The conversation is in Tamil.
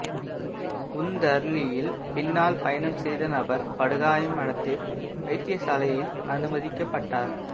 உந்தருளியில்பின்னால் பயணம் செய்த நபர் படு காயம் அடைந்து வைத்தியசாலையில் அனுமதிக்கப்பட்டார்